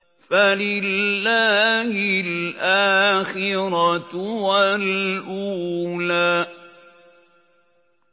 فَلِلَّهِ الْآخِرَةُ وَالْأُولَىٰ